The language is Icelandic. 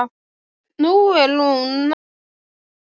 Nú er hún að hugsa svarið.